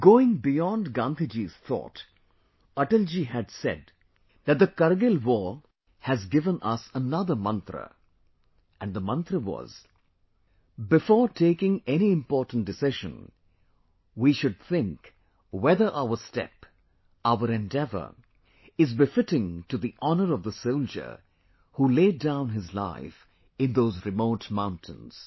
Going beyond Gandhi Ji's thought, Atal ji had said that the Kargil war has given us another Mantra And the Mantra was before taking any important decision, we should think whether our step, our endeavor is befitting to the honour of the soldier who laid down his life in those remote mountains